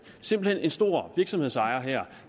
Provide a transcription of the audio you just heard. simpelt hen en stor virksomhedsejer